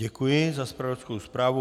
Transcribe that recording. Děkuji za zpravodajskou zprávu.